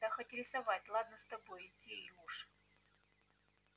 да хоть рисовать ладно с тобой иди уж